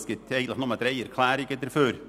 Es gibt eigentlich nur drei Erklärungen dafür.